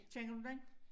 Kender du den?